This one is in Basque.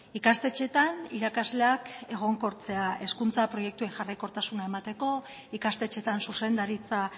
ikastetxeetan irakasleak egonkortzea hezkuntza proiektuei jarraikortasuna emateko ikastetxeetan zuzendaritza